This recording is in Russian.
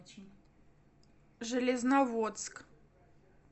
железноводск